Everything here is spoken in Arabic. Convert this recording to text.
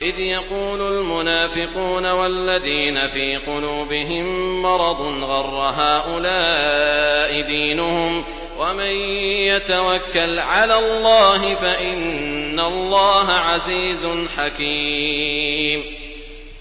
إِذْ يَقُولُ الْمُنَافِقُونَ وَالَّذِينَ فِي قُلُوبِهِم مَّرَضٌ غَرَّ هَٰؤُلَاءِ دِينُهُمْ ۗ وَمَن يَتَوَكَّلْ عَلَى اللَّهِ فَإِنَّ اللَّهَ عَزِيزٌ حَكِيمٌ